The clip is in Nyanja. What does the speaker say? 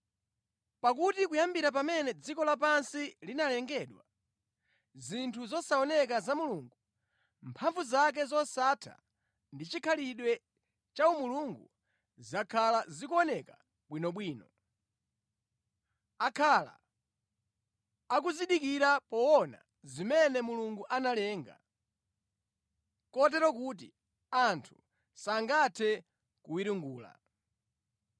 Pakuti kuyambira pamene dziko lapansi linalengedwa, zinthu zosaoneka za Mulungu, mphamvu zake zosatha ndi chikhalidwe cha umulungu, zakhala zikuoneka bwinobwino. Akhala akuzindikira poona zimene Mulungu analenga, kotero kuti anthu sangathe kuwiringula.